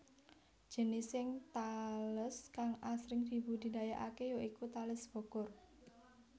Jenising tales kang asring dibudidayakaké ya iku Tales Bogor